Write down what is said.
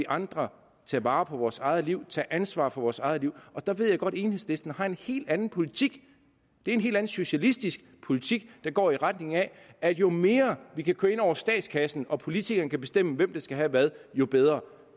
andre tage vare på vores eget liv tage ansvar for vores eget liv der ved jeg godt at enhedslisten har en helt anden politik det er en helt anden socialistisk politik der går i retning af at jo mere vi kan køre ind over statskassen og politikerne kan bestemme hvem der skal have hvad jo bedre